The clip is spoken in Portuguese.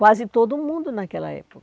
Quase todo mundo naquela